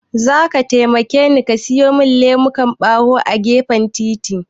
Zaka taimakeni ka siyo min lemukan ɓawo a gefen titin.